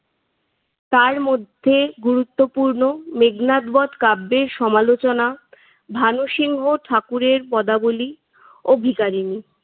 তার মধ্যে গুরুত্বপূর্ণ মেঘনাদ বধ কাব্যের সমালোচনা, ভানুসিংহ ঠাকুরের পদাবলী ও ভিখারিনী।